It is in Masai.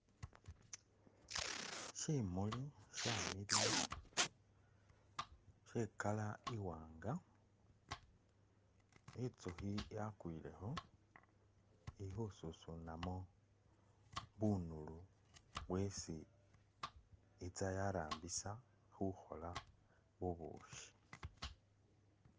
Simuli shamiliya she I'color iwanga , inzukhi yakwilekho ili khususunamo bunulu bwesi itsa yarambisa khukhola bubukhi.